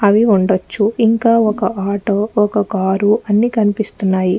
అవి ఉండచ్చు ఇంకా ఒక్క ఆటో ఒక్క కార్ అన్ని కనిపిస్తున్నాయి.